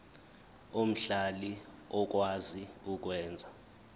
omhlali okwazi ukwenza